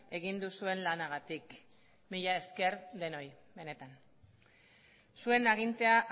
egin duzuen lanagatik mila esker denoi benetan zuen agintea